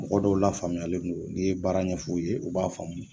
Mɔgɔ dɔw lafaamuyalen don n'i ye baara ɲɛfɔ u ye u b'a faamu